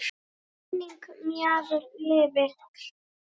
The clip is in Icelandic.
Minning Maju lifir.